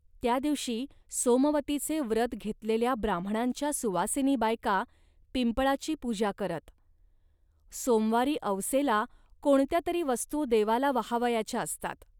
त्या दिवशी सोमवतीचे व्रत घेतलेल्या ब्राम्हणांच्या सुवासिनी बायका पिंपळाची पूजा करतात. सोमवारी अवसेला कोणत्या तरी वस्तू देवाला वाहावयाच्या असतात